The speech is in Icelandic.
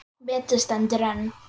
Metið stendur enn.